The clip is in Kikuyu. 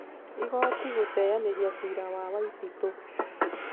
Igooti guteeyanĩria ciira wa Waititũ